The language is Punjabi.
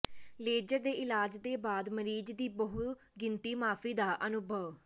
ਲੇਜ਼ਰ ਦੇ ਇਲਾਜ ਦੇ ਬਾਅਦ ਮਰੀਜ਼ ਦੀ ਬਹੁਗਿਣਤੀ ਮਾਫ਼ੀ ਦਾ ਅਨੁਭਵ